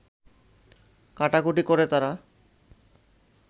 কাটাকুটি করে তারা